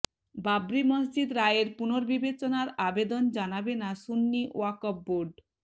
বাবরি মসজিদ রায়ের পুনর্বিবেচনার আবেদন জানাবে না সুন্নি ওয়াকফ বোর্ড